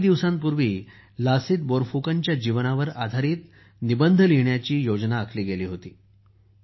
काही दिवसांपूर्वी लसीत बोरफुकनच्या जीवनावर आधारित निबंध लिहिण्याची मोहीम योजना आखली गेली होती